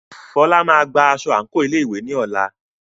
Fola máa gba aṣọ àǹkóò ilé ìwé ní ọ̀la.